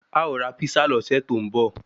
A ó ra písà lọ́sẹ̀ tó ń bọ